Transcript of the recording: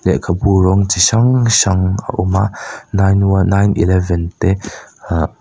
lehkhabu rawng chi hrang hrang a awm a nine one nine eleven te ah.